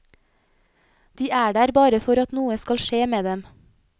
De er der bare for at noe skal skje med dem.